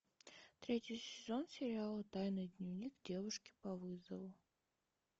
третий сезон сериала тайный дневник девушки по вызову